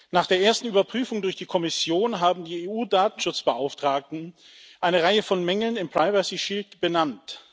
Nach der ersten Überprüfung durch die Kommission haben die EU Datenschutzbeauftragten eine Reihe von Mängeln im benannt.